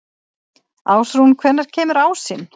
Ástrún, hvenær kemur ásinn?